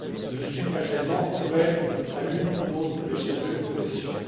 Je suis personnellement ouvert à l'une ou l'autre de ces deux positions.